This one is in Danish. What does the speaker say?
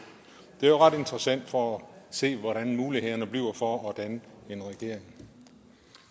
det er jo ret interessant for at se hvordan mulighederne bliver for at danne en regering